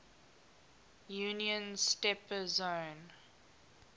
union's steppe zone